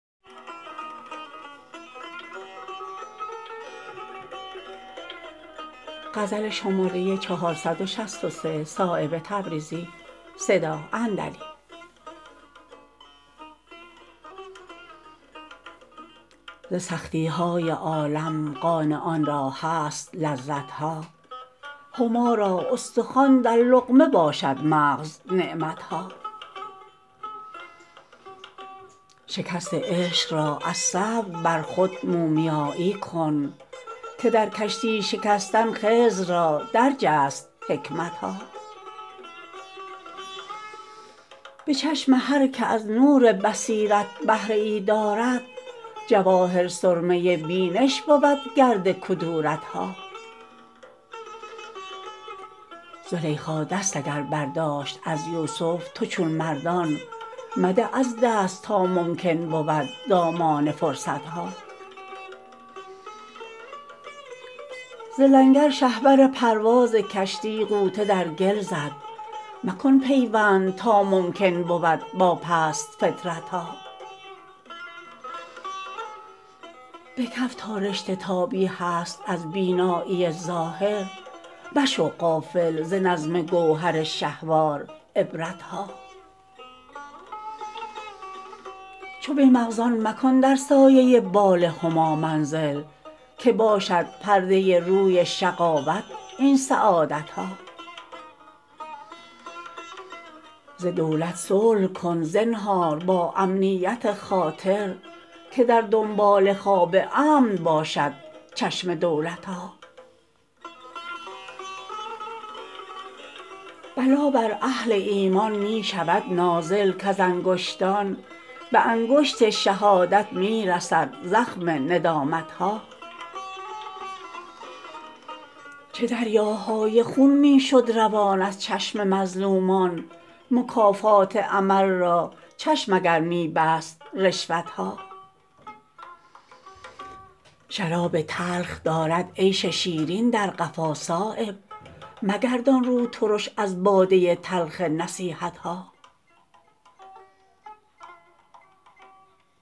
ز سختی های عالم قانعان را هست لذت ها هما را استخوان در لقمه باشد مغز نعمت ها شکست عشق را از صبر بر خود مومیایی کن که در کشتی شکستن خضر را درج است حکمت ها به چشم هر که از نور بصیرت بهره ای دارد جواهر سرمه بینش بود گرد کدورت ها زلیخاست اگر برداشت از یوسف تو چون مردان مده از دست تا ممکن بود دامان فرصت ها ز لنگر شهپر پرواز کشتی غوطه در گل زد مکن پیوند تا ممکن بود با پست فطرت ها به کف تا رشته تابی هست از بینایی ظاهر مشو غافل ز نظم گوهر شهوار عبرت ها چو بی مغزان مکن در سایه بال هما منزل که باشد پرده روی شقاوت این سعادت ها ز دولت صلح کن زنهار با امنیت خاطر که در دنبال خواب امن باشد چشم دولت ها بلا بر اهل ایمان می شود نازل کز انگشتان به انگشت شهادت می رسد زخم ندامت ها چه دریاهای خون می شد روان از چشم مظلومان مکافات عمل را چشم اگر می بست رشوت ها شراب تلخ دارد عیش شیرین در قفا صایب مگردان رو ترش از باده تلخ نصیحت ها